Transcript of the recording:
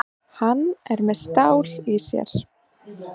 Hann er með stál í sér.